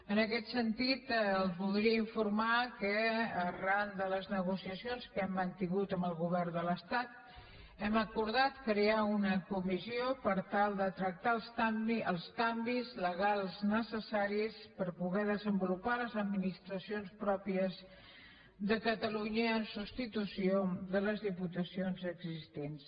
en aquest sentit els voldria informar que arran de les negociacions que hem mantingut amb el govern de l’estat hem acordat crear una comissió per tal de tractar els canvis legals necessaris per poder desenvolupar les administracions pròpies de catalunya en substitució de les diputacions existents